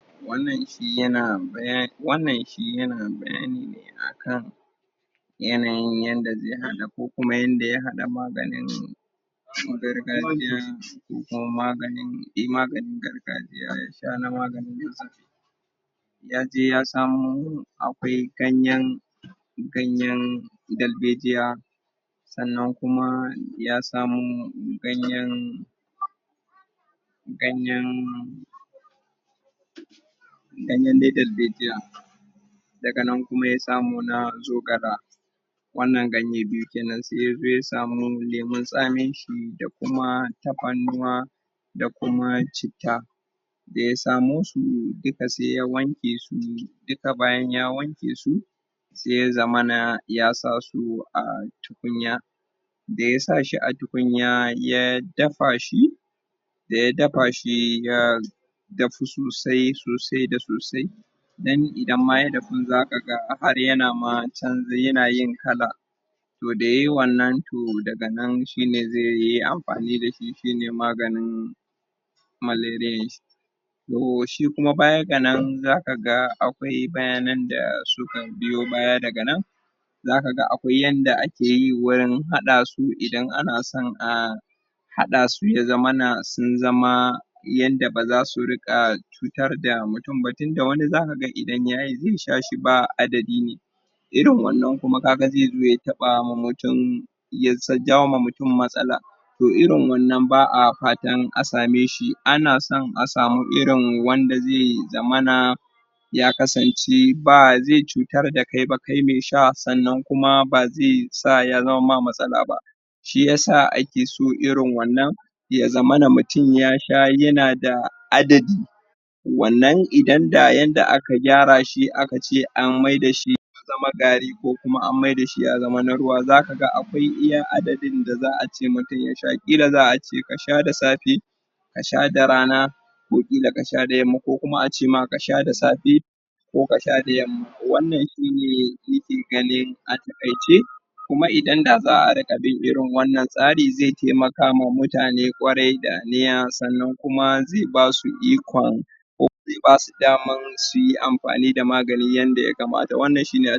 Wannan shi ya na baya wannan shi ya na bayani ne akan yanayin yanda zai haɗa ko kuma yanda ya haɗa maganin cu gargajiya ko kuma maganin, eh maganin gargajiya ya sha na maganin Yaje ya samo akwai ganyen ganyen dalbejiya. Sannan kuma ya samo ganyen ganyen ganyen dai dalbejiya daga nan kuma ya samo na zogala wannan ganye biyu kenan. Sai yazo ya samu lemun tsamin shi da kuma tafarnuwa da kuma citta. Da ya samo su duka sai ya wanke su, duka bayan ya wanke su sai ya zamana ya sa su a tukunya. Da ya sa shi a tukunya ya dafa shi, da ya dafa shi ya dafu sosai sosai da sosai Dan idan ma ya dafu za ka ga har ya na ma ya na yin kala. To da yayi wannan to daga nan shi ne zai yi amfani da shi shine maganin malereye. To shi kuma baya ga nan za ka ga akwai bayanan da suka biyo baya daga nan. Za ka ga akwai yanda ake yi wurin haɗa su idan ana son a haɗa su ya zamana sun zama yadda ba za su riƙa cutar da mutum ba. Tunda wani za ka ga idan yayi zai sha shi ba adadi ne. Irin wannan kuma ka ga zai zo taɓama mutum ya sa jawoma mutum matsala, to irin wannan ba'a fatan a same shi. Ana son a samu irin wanda zai zamana ya kasance ba zai cutar da kai ba kai me sha, sannan kuma ba zai sa ya zamamma matsala ba. Shi yasa ake so irin wannan ya zamana mutum ya sha ya na da adadi. Wannan idan da yanda aka gyara shi aka ce an maida shi zama gari ko kuma an maida shi ya zama na ruwa za ka ga an akwai iya adadin da za'a ce mutum ya sha, ƙila za'a ce mutum ya sha da safe, a sha da rana, ko ƙila ka sha da yamma. Ko kuma a ce ma ka sha da safe, ko ka sha da yamma. Wannan shi ne nike ganin a taƙaice. Kuma idan da za'a riƙa bin irin wannan tsari zai taimaka ma mutane ƙwarai da aniya sannan kuma zai basu ikon ko zai basu daman suyi amfani da magani yanda ya kamata. Wannan shi ne